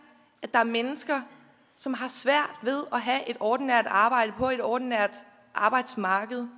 at der er mennesker som har svært ved at have et ordinært arbejde på et ordinært arbejdsmarked